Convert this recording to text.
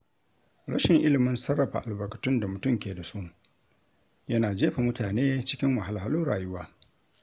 Rashin ilimin sarrafa albarkatun da mutum ke da su yana jefa mutane cikin wahalhalun rayuwa.